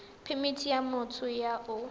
phemithi ya motho yo o